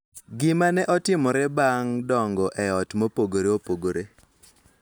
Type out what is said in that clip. Gik ma ne otimore bang� dongo e ot mopogore opogore .